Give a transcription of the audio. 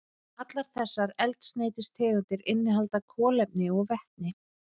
Allar þessar eldsneytistegundir innihalda kolefni og vetni.